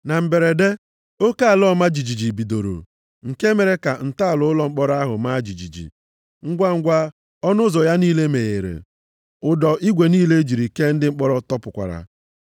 Na mberede, oke ala ọma jijiji bidoro, nke mere ka ntọala ụlọ mkpọrọ ahụ maa jijiji. Ngwangwa, ọnụ ụzọ ya niile meghere, ụdọ igwe niile e jiri kee ndị mkpọrọ tọpụkwara.